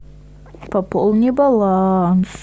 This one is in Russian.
пополни баланс